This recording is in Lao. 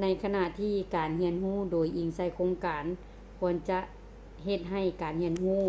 ໃນຂະນະທີ່ການຮຽນຮູ້ໂດຍອີງໃສ່ໂຄງການ ຄວນຈະເຮັດໃຫ້ການຮຽນຮູ້